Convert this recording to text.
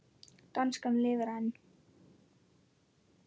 Danskan lifir enn!